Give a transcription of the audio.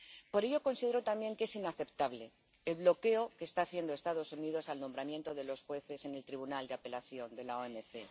Por ello, considero también que es inaceptable el bloqueo que están haciendo los Estados Unidos al nombramiento de los jueces en el Órgano de Apelación de la OMC.